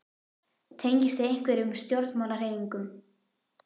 Tengist þið einhverjum stjórnmálahreyfingum?